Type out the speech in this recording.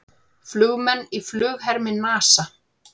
Flugmenn í flughermi NASA.